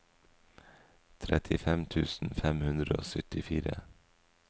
trettifem tusen fem hundre og syttifire